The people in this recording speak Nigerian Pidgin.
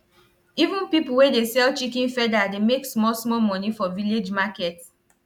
even pipo wey dey sell chicken feather dey make small small money for village market